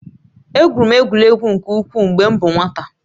Egwuru egwu nke ukwuu mgbe m bụ nwata